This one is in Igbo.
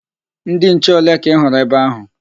Ndị nche ole ka ị hụrụ ebe ahụ?